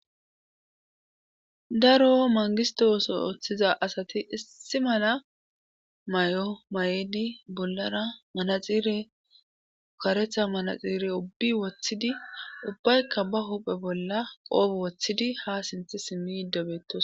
daro mangisto oso ooththiza asati issi mala may7o may7edi bollara manaxire ukaretha manaxiire ubbi woththidi ubbaykka ba huphe bolla qoobu woththidi ha sinthi simmi yiddobeetos